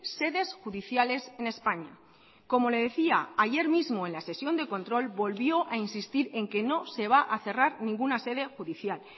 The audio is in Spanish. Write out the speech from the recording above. sedes judiciales en españa como le decía ayer mismo en la sesión de control volvió a insistir en que no se va a cerrar ninguna sede judicial